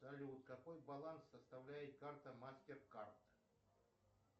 салют какой баланс составляет карта мастеркард